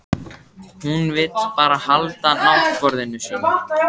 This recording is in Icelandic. Hún vill bara halda náttborðinu sínu.